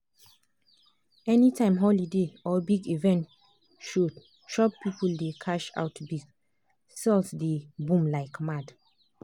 anytime holiday or big event show shop people dey cash out big — sales dey boom like mad.